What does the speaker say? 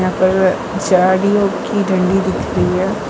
और झाड़ियों की डंडी दिख रही है।